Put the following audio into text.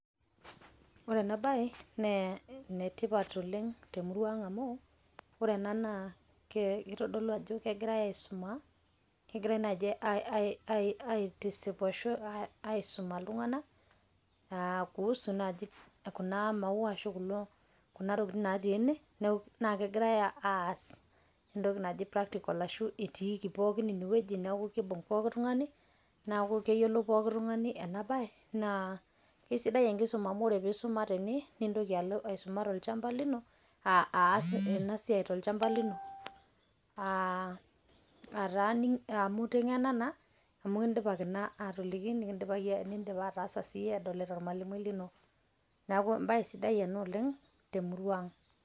ore ena bae naa ene tipat oleng temurua ang amu ore ena naa kitodolu ajo kegiirae aisuma. kegirae naji ai ai aitisip ashu aisuma iltunganak kuhusu naji kuna maua ashu kuna tokitin natii ene naa kegirae aas entoki naji practical ashu itikii pookin ine wueji ,niaku kibung pooki tungani niaku keyiolou pooki tungani ena bae naa isidai enkisuma amu ore tenisuma tene nintoki alo aisuma tolchamba lino .